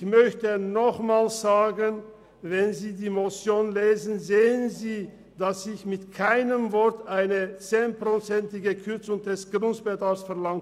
] ich möchte nochmals sagen, wenn Sie die Motion lesen, sehen Sie, dass ich mit keinem Wort eine zehnprozentige Kürzung des Grundbetrags verlange.